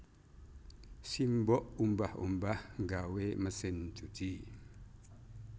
Simbok umbah umbah nggawe mesin cuci